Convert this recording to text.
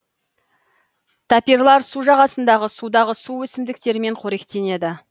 тапирлар су жағасындағы судағы су өсімдіктерімен қоректенеді